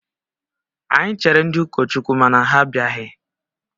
Anyị chere ndị ụkọchukwu mana ha abịaghị